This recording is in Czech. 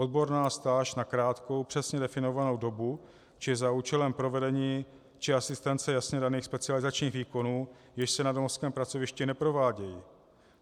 Odborná stáž na krátkou, přesně definovanou dobu či za účelem provedení či asistence jasně daných specializačních výkonů, jež se na domovském pracovišti neprovádějí.